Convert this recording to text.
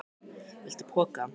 Viltu poka?